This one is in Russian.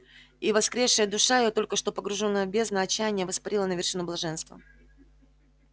и воскресшая душа её только что погружённая в бездну отчаяния воспарила на вершину блаженства